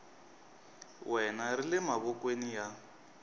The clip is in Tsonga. wena ri le mavokweni ya